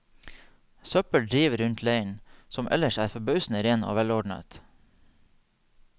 Søppel driver rundt leiren, som ellers er forbausende ren og velordnet.